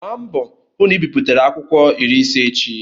Gbaa mbọ hụ na ị biputere akwụkwọ iri ise echi!